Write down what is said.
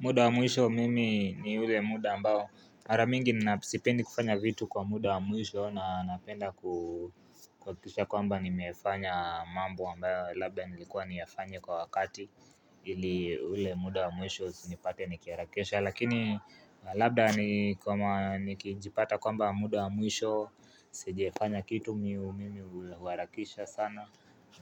Muda wa mwisho mimi ni ule muda ambao mara mingi ninao sipendi kufanya vitu kwa muda wa mwisho na napenda kuhakikisha kwamba nimefanya mambo ambayo labda nilikuwa niyafanye kwa wakati ili ule muda wa mwisho usinipate nikiharakisha Lakini labda nikijipata kwamba muda wa mwisho Sijifanya kitu mimi huharakisha sana